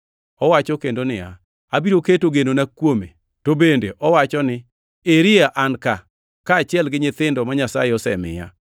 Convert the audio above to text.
Owacho kendo niya, “Abiro keto genona kuome.” + 2:13 \+xt Isa 8:17\+xt* To bende owacho ni, “Eri an ka, kaachiel gi nyithindo ma Nyasaye osemiya.” + 2:13 \+xt Isa 8:18\+xt*